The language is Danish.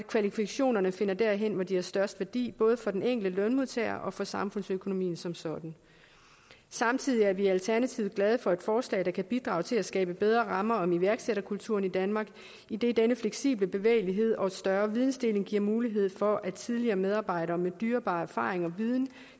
kvalifikationerne finder derhen hvor de har størst værdi både for den enkelte lønmodtager og for samfundsøkonomien som sådan samtidig er vi i alternativet glade for et forslag der kan bidrage til at skabe bedre rammer om iværksætterkulturen i danmark idet denne fleksible bevægelighed og større videndeling giver mulighed for at tidligere medarbejdere med dyrebare erfaringer og viden